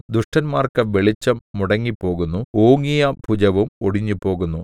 ദുഷ്ടന്മാർക്ക് വെളിച്ചം മുടങ്ങിപ്പോകുന്നു ഓങ്ങിയ ഭുജവും ഒടിഞ്ഞുപോകുന്നു